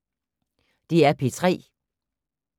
DR P3